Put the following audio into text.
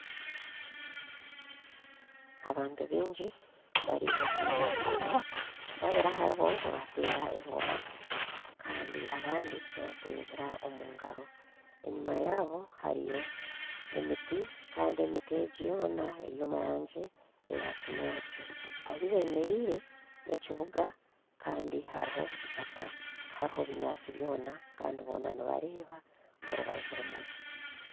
Abantu baingi bari omu mwanya gumwe babiri aharibo nibateera engooma kandi abandi nibateera omugaro enyuma yaabo hariyo emiti kandi emiti egyo yoona eri omu rangi eya kinyaatsi ahi bemereire n'ekibuga kandi hariho itaaka tihariho binyaatsi byona kandi boona nibareeba orubanju rumwe.